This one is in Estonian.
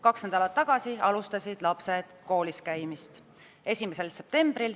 Kaks nädalat tagasi, 1. septembril alustasid lapsed kooliskäimist.